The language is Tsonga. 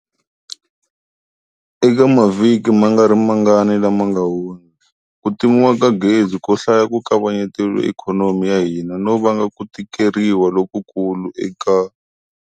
Eka mavhiki ma nga ri mangani lama nga hundza, ku timiwa ka gezi ko hlaya ku kavanyetile ikhonomi ya hina no vanga ku tikeriwa lokukulu eka.